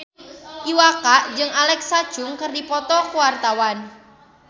Iwa K jeung Alexa Chung keur dipoto ku wartawan